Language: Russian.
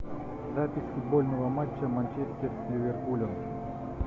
запись футбольного матча манчестер с ливерпулем